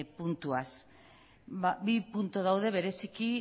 puntuaz bi puntu daude bereziki